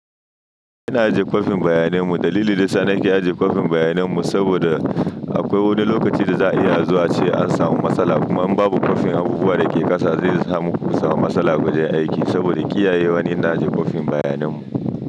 Ina ajiye kwafin bayanan mu, dalili dayasa nake ajiye kwafin bayanin mu saboda akwai wani lokacin da za'a iya azowa ace an samu matsala. Kuma in babu kwafin abubuwa da ke ƙasa, zai sa muku samu matsala a wajen aiki. Saboda kiyaye wa ne ina ajiye kwafin bayanan mu.